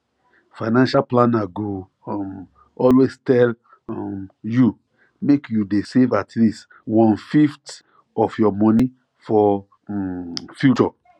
financial planner go um always tell um you make you dey save at least onefifth of your money for um future